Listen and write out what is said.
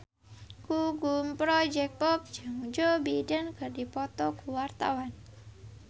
Gugum Project Pop jeung Joe Biden keur dipoto ku wartawan